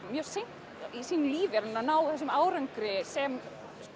mjög seint í sínu lífi er hún að ná þessum árangri sem